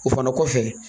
O fana kɔfɛ